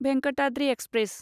Venkatadri express